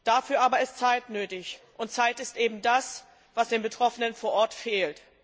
Dafür aber ist Zeit nötig, und Zeit ist eben das, was den Betroffenen vor Ort fehlt.